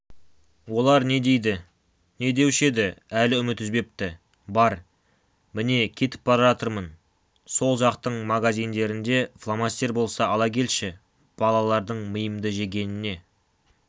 олар не дейді не деуші еді әлі үміт үзбепті бар міне кетіп бара жатырмын сол жақтың магазиндерінде фломастер болса ала келші балалардың миымды жегеніне